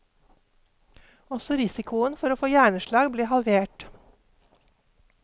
Også risikoen for å få hjerneslag ble halvert.